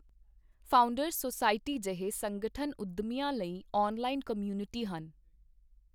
Founders society ਜਿਹੇ ਸੰਗਠਨ ਉੱਦਮੀਆਂ ਲਈ ਔਨਲਾਈਨ ਕਮਿਊਨਿਟੀ ਹਨ।